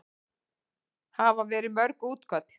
Hafa verið mörg útköll?